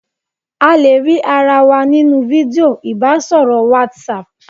A le rí ara wa nínú fídíò ìbásọ̀rọ̀ WhatsApp